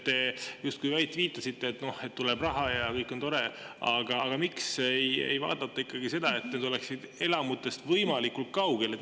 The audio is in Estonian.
Te justkui viitasite, et tuleb raha ja kõik on tore, aga miks ei vaadata ikkagi seda, et need oleksid elamutest võimalikult kaugel?